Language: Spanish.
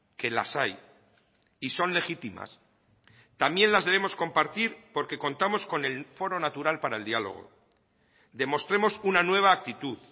que las hay y son legítimas también las debemos compartir porque contamos con el foro natural para el diálogo demostremos una nueva actitud